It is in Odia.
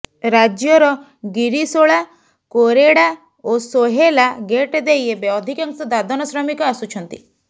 ରାଜ୍ୟର ଗିରିଶୋଳା କୋରେଡ଼ା ଓ ସୋହେଲା ଗେଟ୍ ଦେଇ ଏବେ ଅଧିକାଂଶ ଦାଦନ ଶ୍ର୍ରମିକ ଆସୁଛନ୍ତି